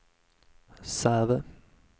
Säve